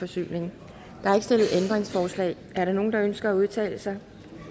stillet ændringsforslag er der nogen der ønsker at udtale sig